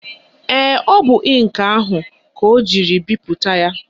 Ee, ọ bụ ịnkị ahụ ka ọ jiri bipụta ya